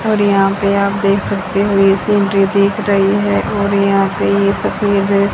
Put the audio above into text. और यहां पे आप देख सकते हो एक दिख रही है और यहां पे ये सफेद है।